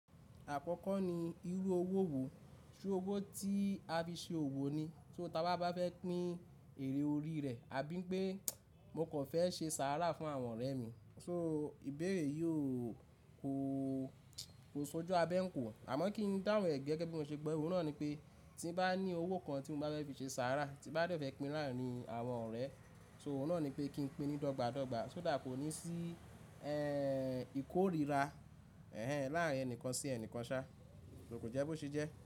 Àkọ́kọ́ ni irú owó wo, ṣé owó tí a fi ṣe òwò ni, so tí a bá fẹ́ pín èrè orí rẹ̀, àbí pé mo kò fẹ́ ṣe sàárà fún àwọn ọ̀rẹ́ mi, so ìbéèrè yóò kó ṣojú abẹ́ n kò. Àmọ́ kí n dáhùn rẹ̀ gẹ́gẹ́ bí mo ṣe gbọ, òun náà ni pé tí bá ní owó kan tí mo bá fẹ́ fi ṣe sàárà, tí bá dẹ fẹ́ pín láàrín àwọn ọ̀rẹ́, ṣé òun náà ni pé kí n pín ní dọ́gba dọ́gba, so that, kó ní sí ìkórira láàrín ẹnìkan sí ẹnìkan ṣá, kò jẹ́ bó ṣe jẹ́.